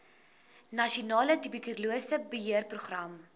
nasionale tuberkulose beheerprogram